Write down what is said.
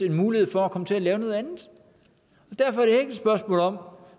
en mulighed for at komme til at lave noget andet derfor er et spørgsmål om